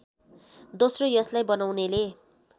दोस्रो यसलाई बनाउनेले